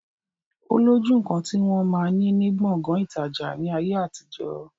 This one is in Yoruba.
Ó lójú nkan ti wọn máa ni ní Gbọ̀ngán ìtajà ni ayé àtijọ́.